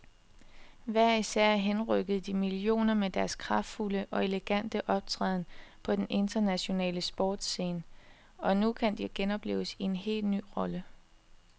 Hver især henrykkede de millioner med deres kraftfulde og elegante optræden på den internationale sportsscene, og nu kan de genopleves i en helt ny rolle.